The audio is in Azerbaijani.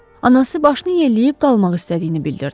Anası başını yelləyib qalmaq istədiyini bildirdi.